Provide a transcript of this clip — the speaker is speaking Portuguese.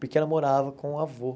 Porque ela morava com o avô.